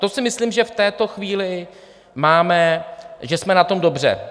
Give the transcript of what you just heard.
To si myslím, že v této chvíli máme, že jsme na tom dobře.